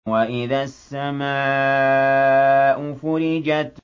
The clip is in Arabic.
وَإِذَا السَّمَاءُ فُرِجَتْ